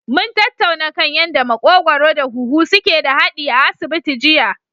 Mun tattauna kan yanda maƙogwaro da huhu suke da haɗi a asibiti jiya.